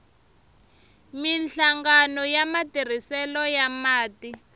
minhlangano ya matirhiselo ya mati